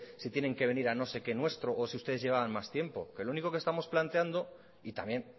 se tiene que venir a no sé qué nuestro o si ustedes llevaban más tiempo que lo único que estamos planteando y también